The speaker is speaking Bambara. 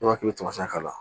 I b'a k'i tamasiyɛn k'a la